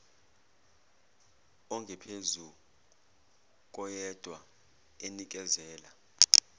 ongaphezu koyedwa enikezela